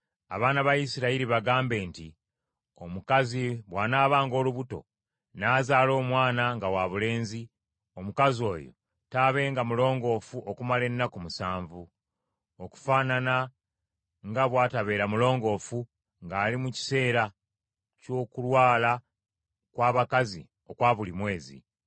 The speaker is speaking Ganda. “Abaana ba Isirayiri bagambe nti, ‘Omukazi bw’anaabanga olubuto, n’azaala omwana nga wabulenzi, omukazi oyo taabenga mulongoofu okumala ennaku musanvu, okufaanana nga bw’atabeera mulongoofu ng’ali mu kiseera ky’okulwala kw’abakazi okwa buli mwezi.